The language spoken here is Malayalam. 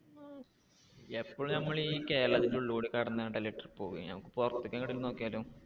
എപ്പോഴും നമ്മള് ഈ കേരളത്തിന്റെ ഉള്ളിലൂടെ നമുക്ക് പുറത്തേക്ക് എവിടേലും നോക്കിയാലോ?